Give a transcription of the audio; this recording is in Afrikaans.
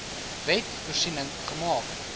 wet voorsiening gemaak